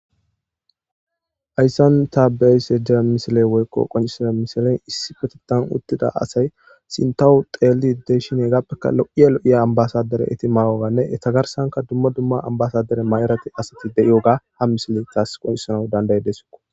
ayssan taabeyse dea misile woykqo qoncisada misilen issi petetan uttida asay sintawu xeeli deshin ee gappeka lo7iya lo7iya ambasadere eti magoganne etagarsanka dumma dumma ambasadere ma7erate asati de7iyoga ha misile taas qoncisana dandaye deso